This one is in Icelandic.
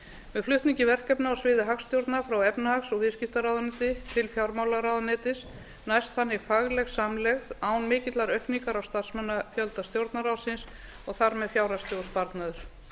með flutningi verkefna á sviði hagstjórnar frá efnahags og viðskiptaráðuneyti til fjármálaráðuneytis næst þannig fagleg samlegð án mikillar aukningar á starfsmannafjölda stjórnarráðsins og þar með fjárhagslegur sparnaður